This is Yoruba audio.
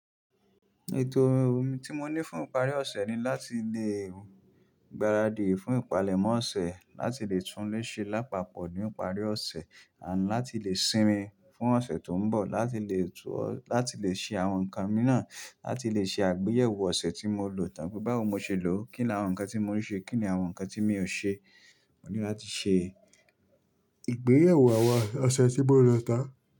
Ètò tí mọ ní fún ìparí ọ̀sẹ̀ ni láti lẹ gbáradì fún ìpalẹ̀mọ́ ọ̀sẹ̀, láti lẹ túnlé ṣe lápapọ̀ ní ìparí ọ̀sẹ̀, àti láti lẹ sinmi fún ọ̀sẹ̀ tó ń bọ̀, láti lẹ, láti le ṣe àwọn nǹkan miran, láti lẹ ṣe àgbéyẹ̀wò ọ̀sẹ̀ tí mo lò tán pé báwo mo ṣe lò ó, kí ni àwọn nǹkan tí mo rí ṣe, kí ni àwọn nǹkan tí mi ò ṣe. Mo ní láti ṣe ìgbéyẹ̀wò àwa ọ̀sẹ̀ tí mọ lò tán.